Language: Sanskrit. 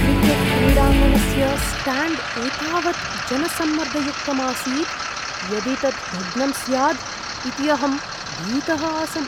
क्रिकेट्क्रीडाङ्गणस्य स्ट्याण्ड् एतावत् जनसम्मर्दयुक्तम् आसीत्, यदि तत् भग्नं स्याद् इति अहं भीतः आसम्।